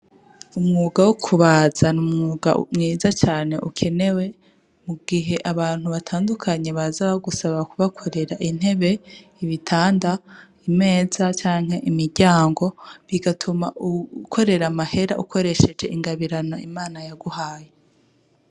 Umwuga wo kubaza, ni umwuga mwiza cane ukenewe mu gihe abantu batandukanye baza bagusaba kubakorera intebe, ibitanda, imeza, canke imiryango, bigatuma ukorera amahera ukoresheje ingabirano Imana yaguhaye.